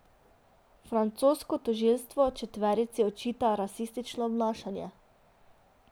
Francosko tožilstvo četverici očita rasistično obnašanje.